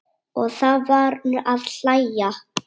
Og það var að hlæja.